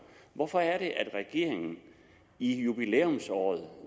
hvorfor er det at regeringen i jubilæumsåret